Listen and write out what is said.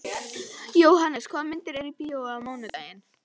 Jóhannes, hvaða myndir eru í bíó á mánudaginn?